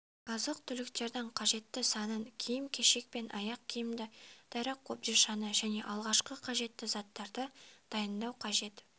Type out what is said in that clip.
азық-түліктердің қажетті санын киім-кешек пен аяқ киімді дәрі қобдишаны және алғашқы қажетті заттарды дайындау қажет